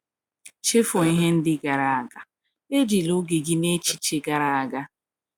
"Chefuo ihe ndị gara aga; ejila oge gị n’echiche gara aga."